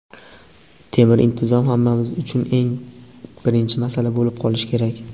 "Temir intizom" — hammamiz uchun eng birinchi masala bo‘lib qolishi kerak.